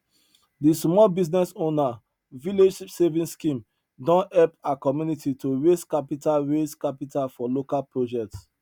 de small business owner village saving scheme don help her community to raise capital raise capital for local projects